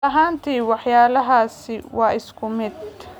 Ma dhab ahaantii waxyaalahaasi waa isku mid?